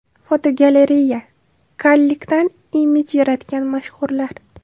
Fotogalereya: Kallikdan imij yaratgan mashhurlar.